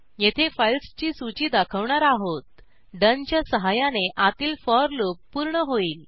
येथे फाईल्सची सूची दाखवणार आहोतdone च्या सहाय्याने आतील फोर लूप पूर्ण होईल